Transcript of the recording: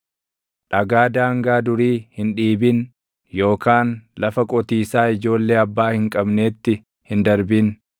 Dhagaa daangaa durii hin dhiibin yookaan lafa qotiisaa ijoollee abbaa hin qabneetti hin darbin.